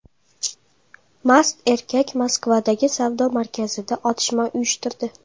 Mast erkak Moskvadagi savdo markazida otishma uyushtirdi.